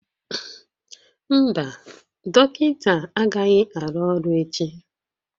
Mba, dọkịta agaghị arụ ọrụ echi